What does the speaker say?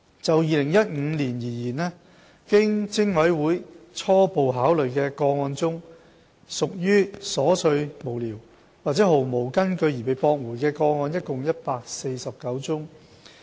就2015年而言，經偵委會初步考慮的個案中屬瑣碎無聊或毫無根據而被駁回的個案共149宗。